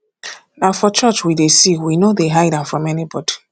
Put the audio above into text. na for church we dey see we no dey hide am from anybody